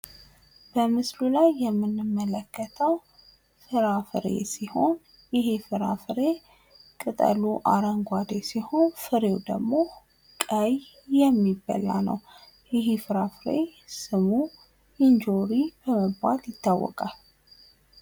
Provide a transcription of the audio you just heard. በምስሉ ላይ የምንመለከተው ፍራፍሬ ሲሆን ይህ ፍራፍሬ ቅጠሉ አረንጓዴ ሲሆን ፍሬው ደግሞ ቀይ የሚባላ ነው። ይህ ፍራፍሬ ስሙ እንጆሪ በመባል ይታወቃል።